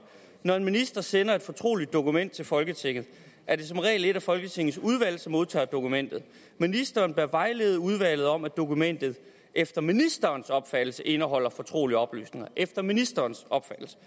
når en minister sender et fortroligt dokument til folketinget er det som regel et af folketingets udvalg som modtager dokumentet ministeren bør vejlede udvalget om at dokumentet efter ministerens opfattelse indeholder fortrolige oplysninger efter ministerens opfattelse